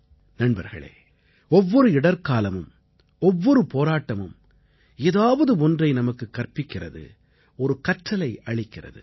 நண்பர்களே ஒவ்வொரு இடர்க்காலமும் ஒவ்வொரு போராட்டமும் ஏதாவது ஒன்றை நமக்குக் கற்பிக்கிறது ஒரு கற்றலை அளிக்கிறது